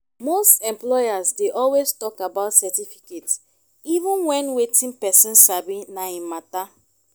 most employers dey always talk about certificate even when wetin person sabi na im matter